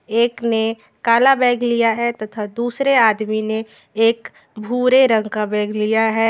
एक ने काला बैग लिया है तथा दूसरे आदमी ने एक भूरे रंग का बैग लिया है।